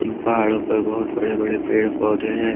पहाड़ों पर बहुत बड़े बड़े पेड़ पौधे हैं।